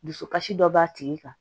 Dusukasi dɔ b'a tigi kan